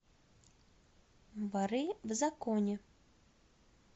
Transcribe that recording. воры в законе